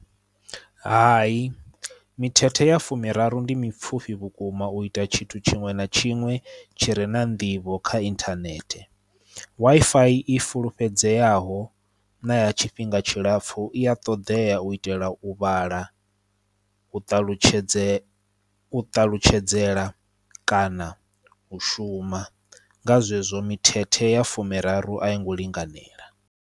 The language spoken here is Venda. Hai mithethe ya fumi miraru ndi mipfhufhi vhukuma u ita tshithu tshinwe na tshinwe tshire na nḓivho kha inthanethe. Wi-Fi i fulufhedzeaho na ya tshifhinga tshilapfhu I ya ṱoḓea u itela u vhala, u ṱalutshedze u ṱalutshedzela kana u shuma. Nga zwezwo mithethe ya fumiraru a yo ngo linganela.